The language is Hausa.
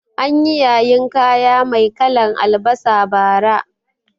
Anyi yayin kaya mai kalan albasa bara